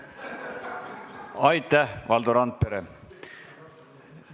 Aitäh, Valdo Randpere!